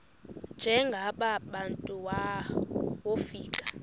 njengaba bantu wofika